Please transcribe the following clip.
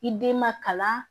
I den ma kalan